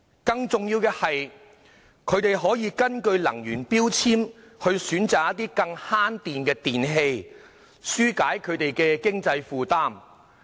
更重要的是，消費者可根據能源標籤選擇更節電的電器，紓解經濟負擔。